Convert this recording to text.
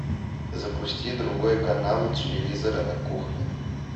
запусти другой канал у телевизора на кухне